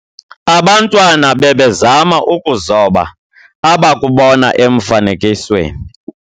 Abantwana bebezama ukuzoba abakubona emfanekisweni.